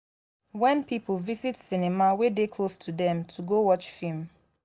wen pipo visit cinema wey dey close to dem to go watch film.